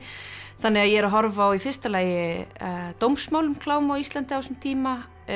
þannig að ég er að horfa á í fyrsta lagi dómsmál um klám á Íslandi á þessum tíma